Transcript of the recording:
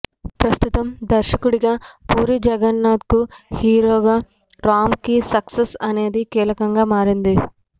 ప్రస్తుతం దర్శకుడిగా పూరీ జగన్నాథ్కు హీరోగా రామ్కు సక్సెస్ అనేది కీలకంగా మారింది